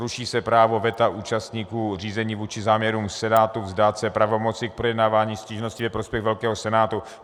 Ruší se právo veta účastníků řízení vůči záměrům senátu vzdát se pravomoci k projednávání stížností ve prospěch velkého senátu.